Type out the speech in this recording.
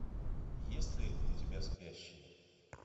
есть ли у тебя спящие